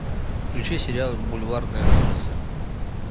включи сериал бульварные ужасы